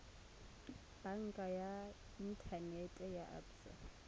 banka ya inthanete ya absa